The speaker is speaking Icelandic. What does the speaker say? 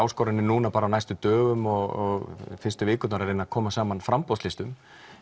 áskoranir núna á næstu dögum og fyrstu vikurnar að reyna að koma saman framboðslistum